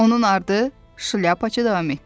Onun ardı, Şlyapaçı davam etdi.